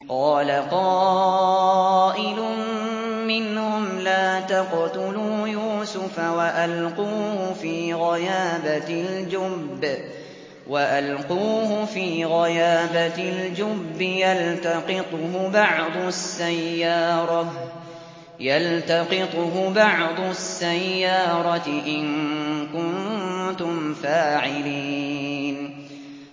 قَالَ قَائِلٌ مِّنْهُمْ لَا تَقْتُلُوا يُوسُفَ وَأَلْقُوهُ فِي غَيَابَتِ الْجُبِّ يَلْتَقِطْهُ بَعْضُ السَّيَّارَةِ إِن كُنتُمْ فَاعِلِينَ